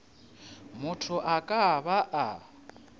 motho a ka ba a